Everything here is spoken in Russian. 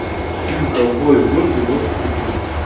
фильм ковбои в городе можешь включить